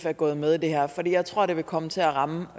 er gået med i det her for jeg tror det vil komme til at ramme